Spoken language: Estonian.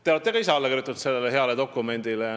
Te olete ka ise sellele heale dokumendile alla kirjutanud.